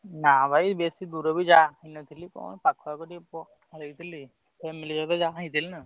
ନାଁ ଭାଇ ବେଶୀ ଦୂରକୁ ଯାଇନଥିଲି କଣ ପାଖରେ ଟିକେ family ସହିତ ଯାଇଥିଲି।